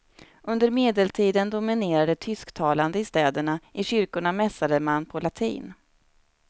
Under medeltiden dominerade tysktalande i städerna, i kyrkorna mässade man på latin.